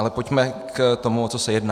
Ale pojďme k tomu, o co se jedná.